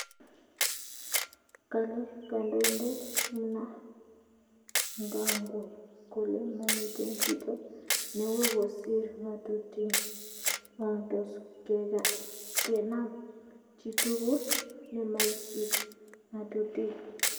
kale kandoindet Mnangagwa kole mamiten chito newoo kosir ngatutig o toskenam chitugul nemaisipi ngatutiig